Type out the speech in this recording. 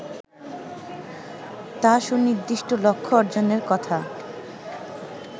তা সুনির্দিষ্ট লক্ষ্য অর্জনের কথা